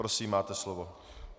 Prosím, máte slovo.